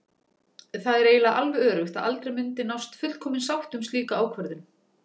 Það er eiginlega alveg öruggt að aldrei myndi nást fullkomin sátt um slíka ákvörðun.